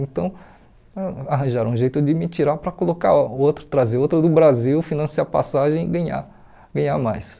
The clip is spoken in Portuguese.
Então, a arranjaram um jeito de me tirar para colocar outro trazer outro do Brasil, financiar passagem e ganhar ganhar mais.